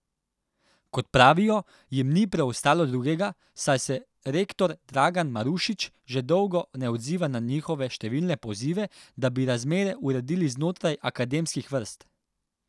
Kot pravijo, jim ni preostalo drugega, saj se rektor Dragan Marušič že dolgo ne odziva na njihove številne pozive, da bi razmere uredili znotraj akademskih vrst.